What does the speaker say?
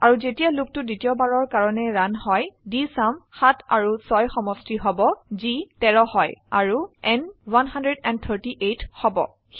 অৰুযেতিয়া লুপটো দ্বিতীয়বাৰৰ কাৰনে ৰান হয় ডিএছইউএম 7 আৰু 6 সমষ্টি হব যি 13 হয় আৰু n 138 হব